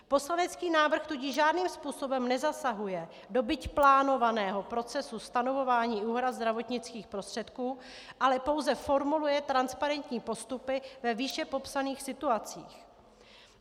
Poslanecký návrh tudíž žádným způsobem nezasahuje do byť plánovaného procesu stanovování úhrad zdravotnických prostředků, ale pouze formuluje transparentní postupy ve výše popsaných situacích.